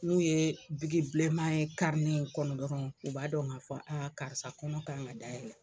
N'u ye bilenman ye kɔnɔ dɔrɔn u b'a dɔn k'a fɔ karisa kɔnɔ kan ka dayɛlɛ.